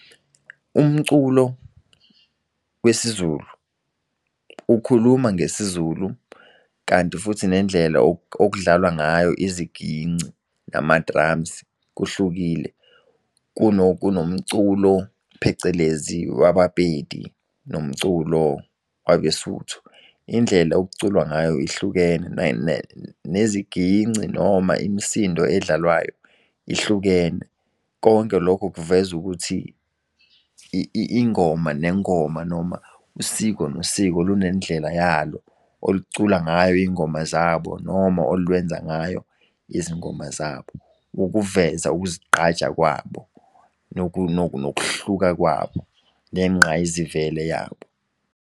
Umculo wesiZulu ukhuluma ngesiZulu kanti futhi nendlela okudlalwa ngayo iziginci nama-drums kuhlukile kunomculo phecelezi wabaPedi nomculo wabeSuthu. Indlela okuculwa ngayo ihlukene neziginci noma imisindo edlalwayo ihlukene. Konke lokho kuvezu ukuthi ingoma nengoma noma usiko nosiko lunendlela yalo oluculayo ingoma zabo noma olwenza ngayo izingoma zabo. Ukuveza ukuzigqaja kwabo nokuhluka kwabo, nengqayizivele yabo.